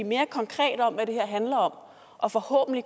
mere konkrete om hvad det her handler om og forhåbentlig